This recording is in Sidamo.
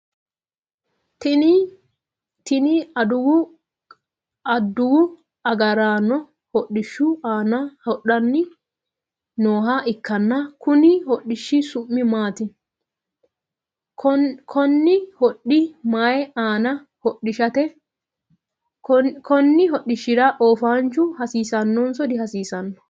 Tinni adawu agaraano hodhishu aanna hadhanni nooha ikanna konni hodhishi su'mi maati? Konni hodhi mayi aanni hodhishaati? Konni hodhishira oofaanchu hasiisanonso dihasiisano?